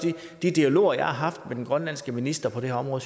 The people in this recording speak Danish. de dialoger jeg har haft med den grønlandske minister på det her område